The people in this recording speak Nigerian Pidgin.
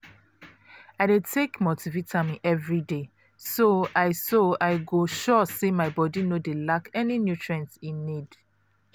i dey take multivitamin everyday so i so i go sure say my body no dey lack any nutrient e need.